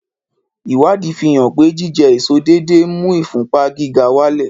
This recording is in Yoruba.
Ìwádìí fi hàn pé jíjẹ èso déédéé ń mú ìfúnpá gíga wálẹ̀